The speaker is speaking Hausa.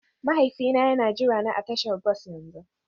Mahaifina yana jirana a tashar bas yanzu